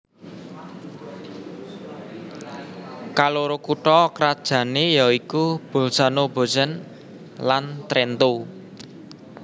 Kaloro kutha krajané ya iku Bolzano Bozen lan Trento